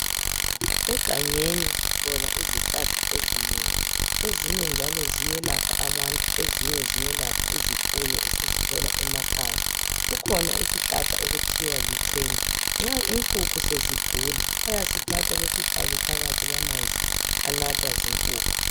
Egangeni sithola izihlahla ezinengi. Ezinye njalo ziyelapha abantu , ezinye ziyelapha izifuyo esizithola emakhaya. Kukhona isihlahla okuthiwa licena, nxa inkukhu sezigula, bayasithatha besifake phakathi kwamanzi anathwa zinkukhu.